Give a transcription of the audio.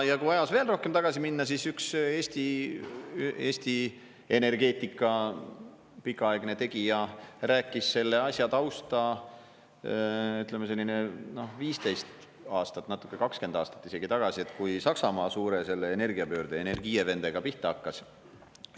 Ja kui ajas veel rohkem tagasi minna, siis üks Eesti energeetika pikaaegne tegija rääkis selle asja tausta, ütleme, selline 15 aastat, natuke, 20 aastat isegi tagasi, kui Saksamaa suure energiapöörde, Energiewende'ga pihta hakkas.